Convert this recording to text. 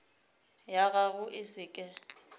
ya gago e se ke